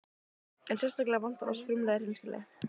En sérstaklega vantar oss frumlega hreinskilni.